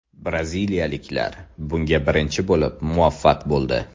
Braziliyaliklar bunga birinchi bo‘lib muvaffaq bo‘ldi.